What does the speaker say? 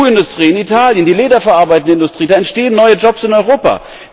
Die Schuhindustrie in Italien, die Leder verarbeitende Industrie da entstehen neue Jobs in Europa!